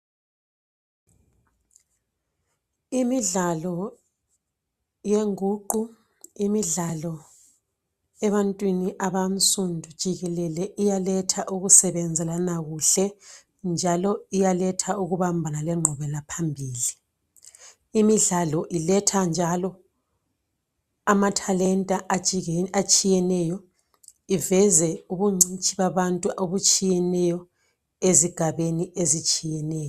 Imidlalo yenguqu, imidlalo ebantwini abansundu jikelele iyaketha ukusebenzelana kuhle njalo iyaletha ukubambana lenqubelaphambili. Imidlalo iyaletha njalo amathalenta atshiyeneyo, iveze ubungcitshi babantu obutshiyeneyo ezigabeni ezitshiyeneyo.